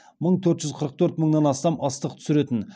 мың төрт жүз қырық төрт мыңнан астам ыстық түсіретін